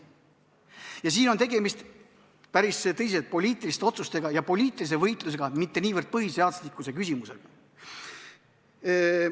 Ja siin on tegemist päris tõsiste poliitiliste otsustega ja poliitilise võitlusega, mitte niivõrd põhiseaduslikkuse küsimusega.